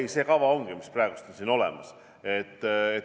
Ei, see kava ongi, mis on praegu siin olemas.